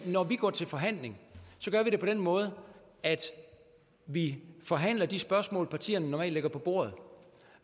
når vi går til forhandling gør vi det på den måde at vi forhandler de spørgsmål partierne normalt lægger på bordet